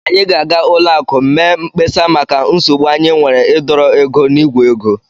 Anyị ga-aga ụlọakụ m mee mkpesa maka nsogbu anyị nwere ịdọrọ ego n'ìgwè ego